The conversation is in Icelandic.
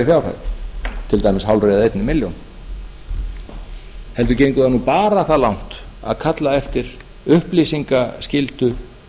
fjárhæð til dæmis hálfri eða einni milljón heldur gengur það bara það langt að kalla eftir upplýsingaskyldu